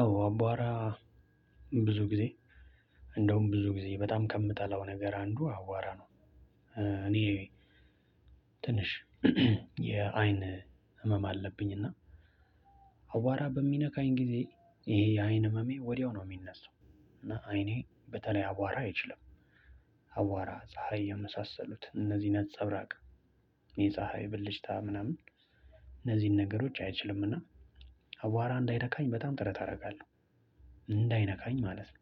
አወ አቧራ ብዙ ጊዜ እንደውም ብዙ ጊዜ በጣም ከምጠላው ነገር አንዱ አቧራ ነው። ትንሽ የአይን ህመም አለብኝ። እና አቧራ በሚነካኝ ጊዜ ይሄ የአይን ህመሜ ወዲያው ነው የሚነሳው። እና አይኔ በተለይ አቧራ አይችልም አቧራ ፀሀይ የመሳሰሉት እነዚህ ነፀብራቅ የፀሀይ ብልጭታ ምናምን እነዚህን ነገሮች አይችልም። እና አቧራ እንዳይነካኝ በጣም ጥረት አደርጋለሁ። እንዳይነካኝ ማለት ነው።